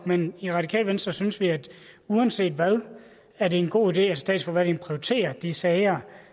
men i radikale venstre synes vi at det uanset hvad er en god idé at statsforvaltningen prioriterer de sager